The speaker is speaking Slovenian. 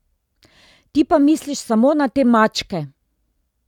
Ti pa misliš samo na te maČKe!